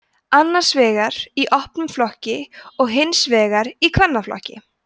annars vegar í opnum flokki og hins vegar í kvennaflokki